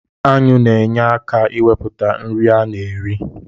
Aṅụ na-enye aka iwepụta nri a na-eri